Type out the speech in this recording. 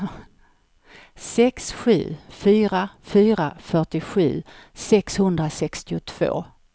sex sju fyra fyra fyrtiosju sexhundrasextiotvå